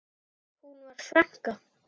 Hún var frænka.